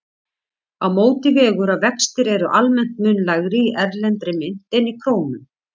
Á móti vegur að vextir eru almennt mun lægri í erlendri mynt en í krónum.